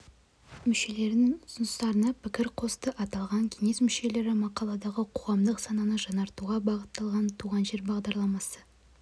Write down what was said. мүшелерінің ұсыныстарына пікір қосты аталған кеңес мүшелері мақаладағы қоғамдық сананы жаңғыртуға бағытталған туған жер бағдарламасы